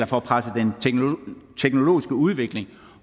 får presset den teknologiske udvikling